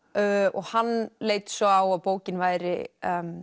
og hann leit svo á að bókin væri